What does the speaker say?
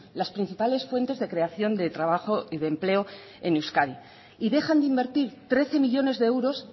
las principales fuentes de creación de trabajo y de empleo en euskadi y dejan de invertir trece millónes de euros